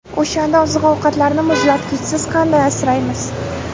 O‘shanda oziq-ovqatlarni muzlatgichsiz qanday asraymiz?